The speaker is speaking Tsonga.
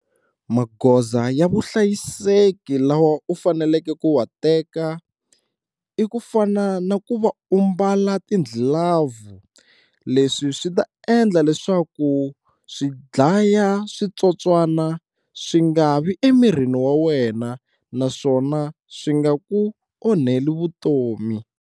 Magoza ya vuhlayiseki lawa u faneleke ku wa teka i ku fana na ku va u mbala ti-glove leswi swi ta endla leswaku swidlaya switsotswana swi nga vi emirini wa wena naswona swi nga ku onheli vutomi.